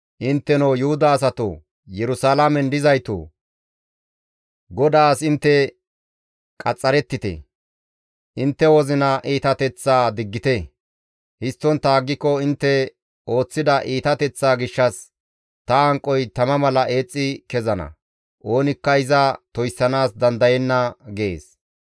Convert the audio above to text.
Intteno Yuhuda asatoo, Yerusalaamen dizaytoo! GODAAS intte qaxxarettite; intte wozina iitateththaa diggite; histtontta aggiko intte ooththida iitateththaa gishshas ta hanqoy tama mala eexxi kezana; oonikka iza toyssanaas dandayenna» gees.